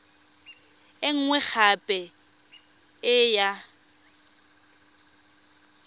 e nngwe gape e ya